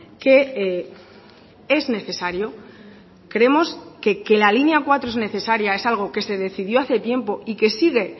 que es necesario creemos que la línea cuatro es necesaria es algo que se decidió hace tiempo y que sigue